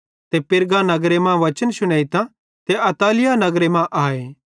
ते पिरगा नगरे मां वचन शुनेइतां त अत्तलिया नगरे मां आए